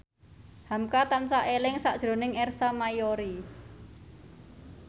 hamka tansah eling sakjroning Ersa Mayori